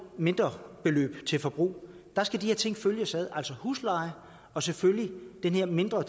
mindrebeløb til forbrug der skal de her ting følges ad altså husleje og selvfølgelig det her mindre